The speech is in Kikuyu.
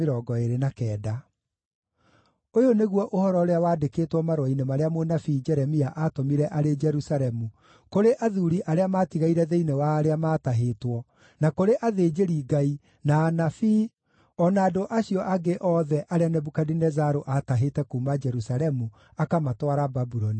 Ũyũ nĩguo ũhoro ũrĩa waandĩkĩtwo marũa-inĩ marĩa mũnabii Jeremia aatũmire arĩ Jerusalemu kũrĩ athuuri arĩa maatigaire thĩinĩ wa arĩa maatahĩtwo, na kũrĩ athĩnjĩri-Ngai, na anabii, o na andũ acio angĩ othe arĩa Nebukadinezaru aatahĩte kuuma Jerusalemu akamatwara Babuloni.